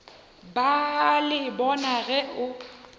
ba le bona ge o